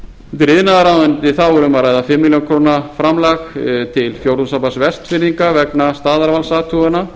undir iðnaðarráðuneyti er um að ræða fimm milljónir króna framlag til fjórðungssambands vestfirðinga vegna